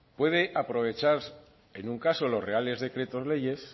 puede aprovechar en un caso los reales decretos leyes